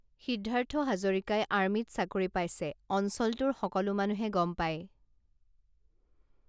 সিদ্ধাৰ্থ হাজৰিকাই আৰ্মীত চাকৰি পাইছে অঞ্চলটোৰ সকলো মানুহে গম পায়